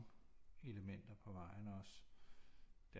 Elementer på vejen også